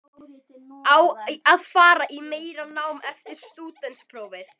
Á að fara í meira nám eftir stúdentsprófið?